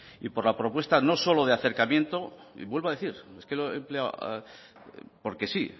y por la propuesta no solo de acercamiento y vuelvo a decir es que lo he empleado porque sí